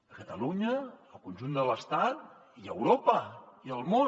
a catalunya al conjunt de l’estat i a europa i al món